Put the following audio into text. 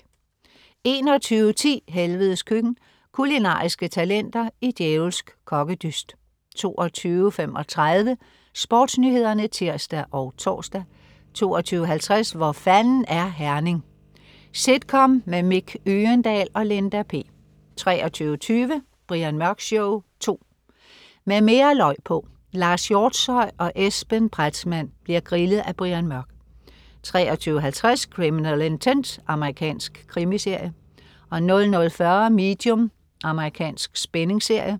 21.10 Helvedes Køkken. Kulinariske talenter i djævelsk kokkedyst 22.35 SportsNyhederne (tirs og tors) 22.50 Hvor fanden er Herning? Sitcom med Mick Øgendahl og Linda P 23.20 Brian Mørk Show 2. Med mere løg på! Lars Hjortshøj og Esben Pretzmann bli'r grillet af Brian Mørk 23.50 Criminal Intent. Amerikansk krimiserie 00.40 Medium. Amerikansk spændingsserie